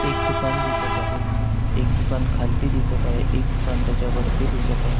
एक दुकान दिसत आहे एक दुकान खालती दिसत आहे एक दुकान त्याच्या वरती दिसत आहे.